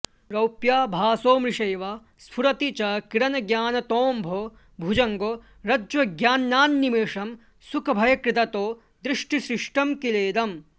रौप्याभासो मृषैव स्फुरति च किरणज्ञानतोऽम्भो भुजङ्गो रज्ज्वज्ञानान्निमेषं सुखभयकृदतो दृष्टिसृष्टं किलेदम्